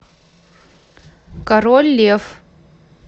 король лев